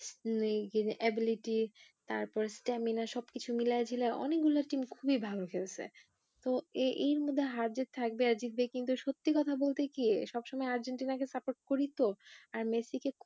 ability তারপর stamina সব কিছু মিলায়া ঝিলায়া অনেকগুলো team খুবই ভালো খেলছে তো এই এর মধ্যে হার জিৎ থাকবে আর জিতবে কিন্তু সত্যি কথা বলতে কি সব সময় আর্জেন্টিনা কে support করি তো আর মেসি কে